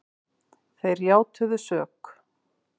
Þeir játuðu sök